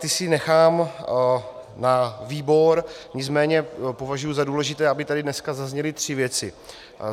Ty si nechám na výbor, nicméně považuji za důležité, aby tady dneska zazněly tři věci.